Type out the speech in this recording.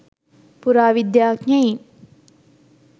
පුරාවිද්‍යාඥයින්